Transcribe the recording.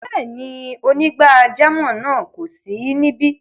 Rárá, onígbàjàmọ́ náà kò sí níbí.